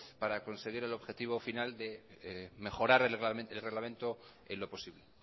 para conseguir el objetivo final de mejorar el reglamento en lo posible